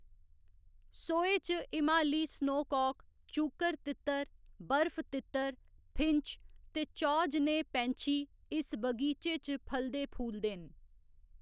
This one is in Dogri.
सोहे च हिमालयी स्नोकाक, चूकर तित्तर, बर्फ तित्तर, फिंच ते चौ जनेह् पैंछी इस बगीचे च फलदे फूलदे न।